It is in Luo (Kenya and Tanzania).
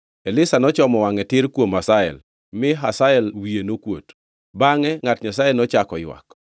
Elisha nochomo wangʼe tir kuom Hazael, mi Hazael wiye nokuot. Bangʼe ngʼat Nyasaye nochako ywak.